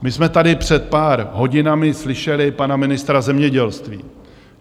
My jsme tady před pár hodinami slyšeli pana ministra zemědělství.